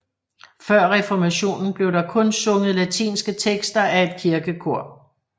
Før reformationen blev der kun sunget latinske tekster af et kirkekor